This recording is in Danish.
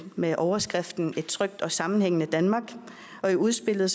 med overskriften et trygt og sammenhængende danmark og i udspillet